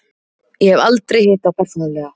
Ég hef aldrei hitt þá persónulega.